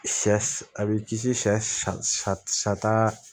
Sɛ a b'i kisi sa sa